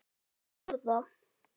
Án orða.